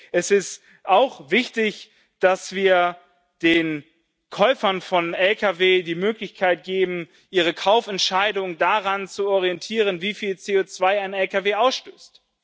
Es ist auch wichtig, dass wir den Käufern von Lkw die Möglichkeit geben, ihre Kaufentscheidung daran zu orientieren, wie viel CO2 ein Lkw ausstößt.